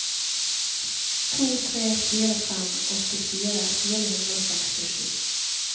to tre fire fem åttifire fire hundre og sekstisju